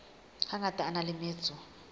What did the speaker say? hangata a na le metso